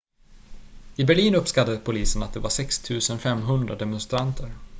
i berlin uppskattade polisen att det var 6 500 demonstranter